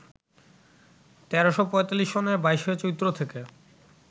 ১৩৪৫ সনের ২২ চৈত্র থেকে